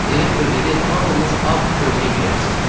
Direktor dedi hamınız ağ köynək geyərsiniz.